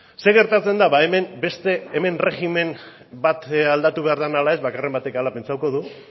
zer gertatzen da ba hemen beste erregimen bat aldatu behar den ala ez baten batek hala pentsatuko du